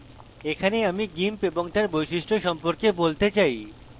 এখানে আমি gimp এবং তার বৈশিষ্ট্য সম্পর্কে বলতে চাই